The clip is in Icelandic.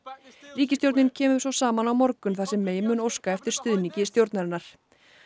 ríkisstjórnin kemur svo saman á morgun þar sem mun óska eftir stuðningi stjórnarinnar